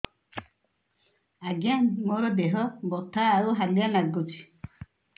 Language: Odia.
ଆଜ୍ଞା ମୋର ଦେହ ବଥା ଆଉ ହାଲିଆ ଲାଗୁଚି